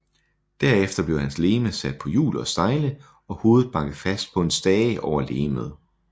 Herefter blev hans legeme sat på hjul og stejle og hovedet banket fast på en stage over legemet